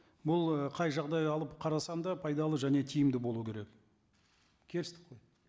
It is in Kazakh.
бұл ы қай жағдай алып қарасаң да пайдалы және тиімді болу керек келістік қой